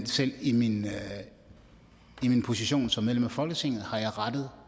selv i min position som medlem af folketinget har jeg rettet